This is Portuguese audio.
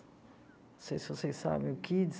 Não sei se vocês sabem o Kids.